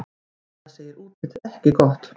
Anna segir útlitið ekki gott.